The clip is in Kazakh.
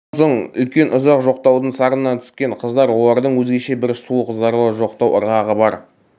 сонан соң үлкен ұзақ жоқтаудың сарынына түскен қыздар олардың өзгеше бір суық зарлы жоқтау ырғағы бар